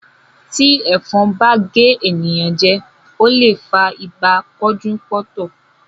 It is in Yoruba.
Tí ẹ̀fọn bá gé ènìyàn jẹ, ó lè fa ibà pọ́njú-pọ́ntọ̀.